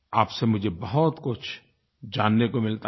आप से मुझे बहुतकुछ जानने को मिलता है